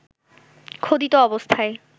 খোদিত অবস্থায়